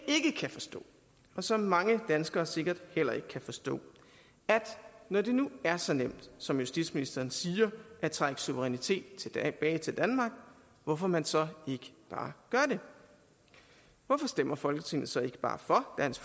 ikke kan forstå og som mange danskere sikkert heller ikke kan forstå er når det nu er så nemt som justitsministeren siger at trække suverænitet tilbage til danmark hvorfor man så ikke bare gør det hvorfor stemmer folketinget så ikke bare for dansk